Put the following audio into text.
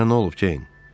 Sənə nə olub, Ceyn?